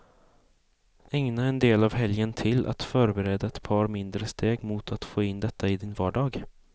Ägna en del av helgen till att förbereda ett par mindre steg mot att få in detta i din vardag.